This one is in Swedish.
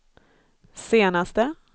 senaste